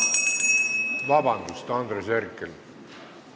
Vabandust, Andres Herkel!